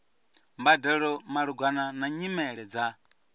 mbadelo malugana na nyimele dza